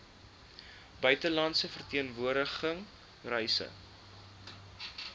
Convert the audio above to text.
buitelandse verteenwoordiging reise